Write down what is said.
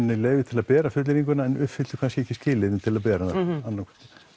leyfi til að bera fullyrðinguna en uppfylltu kannski ekki skilyrðin til að bera þau það